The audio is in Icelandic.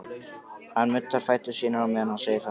Hann nuddar fætur sína á meðan hann segir þetta.